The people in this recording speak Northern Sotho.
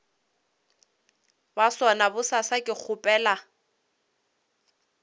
ba sona bosasa ke kgopela